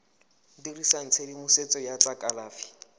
dirisa tshedimosetso ya tsa kalafi